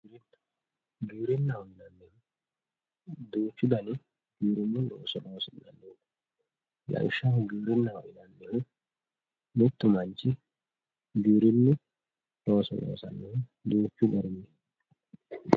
Giwirinaho yinani woyite duuchu dani looso losinani lawishshaho giwirinaho yinanihu mittu manchi giwirinu looso losanohu duuchu gariti